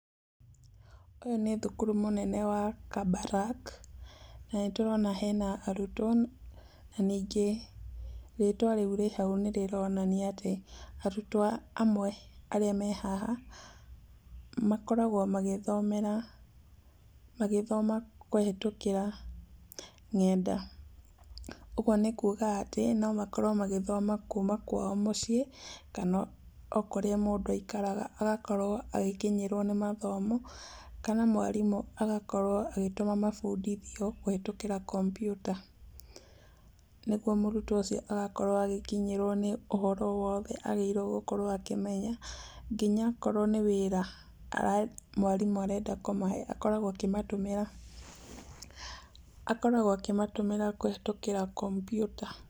Ũyũ nĩ thukuru mũnene wa Kabarak, na nĩtũrona hena arutwo na rĩtwa rĩu rĩ hau nĩ rĩronania atĩ arutwo amwe arĩa me haha, makoragwo magĩthomera, magĩthoma kũhĩtũkĩra ng'enda. Ũguo nĩ kuuga atĩ no makorwo magĩthoma kuuma kwao mũciĩ, kana o kũrĩa mũndũ aikaraga agakorwo agĩkinyĩrwo nĩ mathomo, kana mwarimũ agakorwo agĩtũma mabundithio kũhĩtũkĩra kompiuta, nĩguo mũrutwo ũcio agakorwo agĩkinyĩrwo nĩ ũhoro wothe agĩrĩirwo gũkorwo akĩmenya. Nginya akorwo nĩ wĩra mwarimũ arenda kũmahe, akoragwo akĩmatũmĩra kũhĩtũkĩra kompiuta.